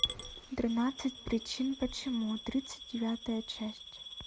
тринадцать причин почему тридцать девятая часть